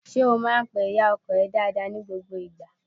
Ṣé o máá ń pe ìyá ọkọ ẹ dáadáa ni gbogbo ìgbà?